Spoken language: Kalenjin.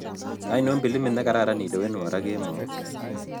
Aino pilimit negararanne ilewenwo raa kemout